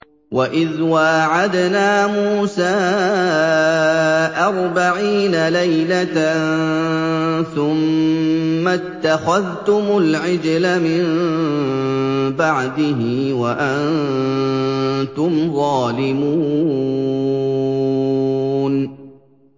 وَإِذْ وَاعَدْنَا مُوسَىٰ أَرْبَعِينَ لَيْلَةً ثُمَّ اتَّخَذْتُمُ الْعِجْلَ مِن بَعْدِهِ وَأَنتُمْ ظَالِمُونَ